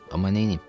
Amma neyniyim?